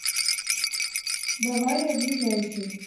бавария ближайший